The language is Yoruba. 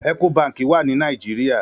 Èkó bànkí wà ni Nàijiriá